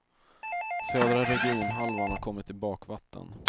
Södra regionhalvan har kommit i bakvatten.